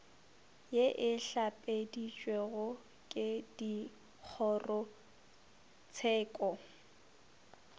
ye e hlapeditšwego ke dikgorotsheko